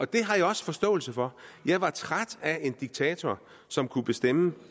det har jeg også forståelse for jeg var træt af en diktator som kunne bestemme